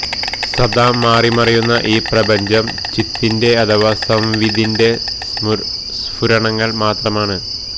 സദാ മാറിമറിയുന്ന ഈ പ്രപഞ്ചം ചിത്തിന്റെ അഥവാ സംവിദിന്റെ സ്ഫുരണങ്ങള് മാത്രമാണ്